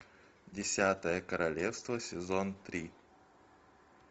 десятое королевство сезон три